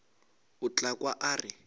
o tla kwa a re